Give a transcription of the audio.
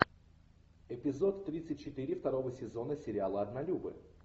эпизод тридцать четыре второго сезона сериала однолюбы